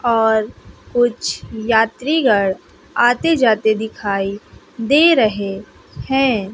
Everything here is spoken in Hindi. और कुछ यात्रीगण आते जाते दिखाई दे रहे हैं।